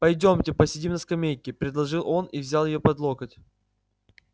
пойдёмте посидим на скамейке предложил он и взял её под локоть